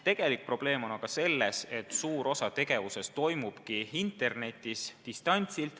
Tegelik probleem on aga selles, et suur osa tegevusest toimubki internetis, distantsilt.